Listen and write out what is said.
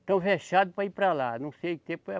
Estão avexados para ir para lá, não sei o que.